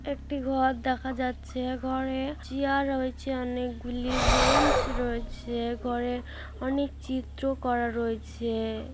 একটি ঘর দেখা যাচ্ছে ঘরে চেয়ার রয়েছে অনেকগুলি বেঞ্চ রয়েছে ঘরে অনেক চিত্র করা রয়েছে-এ--